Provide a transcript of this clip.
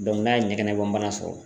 n'a ɲɛgɛnɛbɔnbana sɔrɔ.